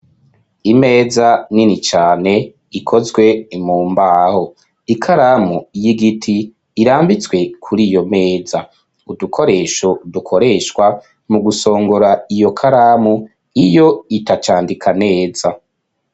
Imeza nini cane ikozwe imumbaho ikaramu y'igiti irambitswe kuri iyo meza .Udukoresho dukoreshwa mu gusongora iyo karamu iyo itacandika neza.